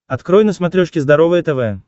открой на смотрешке здоровое тв